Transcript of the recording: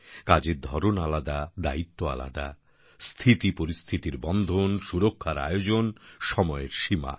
কাজের ধরন আলাদা দায়িত্ব আলাদা স্থিতিপরিস্থিতির বন্ধন সুরক্ষার আয়োজন সময়ের সীমা